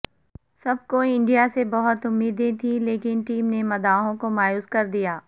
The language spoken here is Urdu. سب کو انڈیا سے بہت امیدیں تھیں لیکن ٹیم نے مداحوں کو مایوس کر دیا